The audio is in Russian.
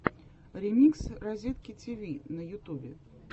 ремикс разетки тиви на ютубе